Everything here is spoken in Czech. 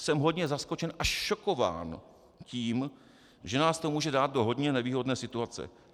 Jsem hodně zaskočen až šokován tím, že nás to může dát do hodně nevýhodné situace.